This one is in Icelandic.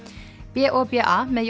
b o b a með